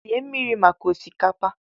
sie mmiri maka osikapa!